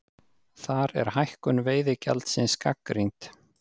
Þar er hækkun veiðigjaldsins gagnrýnd